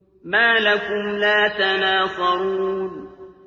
مَا لَكُمْ لَا تَنَاصَرُونَ